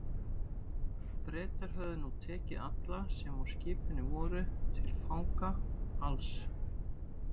Bretar höfðu nú tekið alla, sem á skipinu voru, til fanga, alls